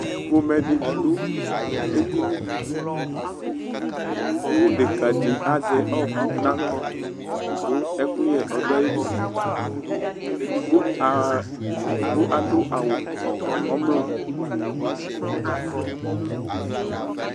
Ƒomɛ di dʋ edini kʋ deka di azɛ ɔɔkʋ naɣla, kʋ ɛkʋyɛ ɔduayiliEdigbo aaa , edigbo adʋ awu ɔmlɔ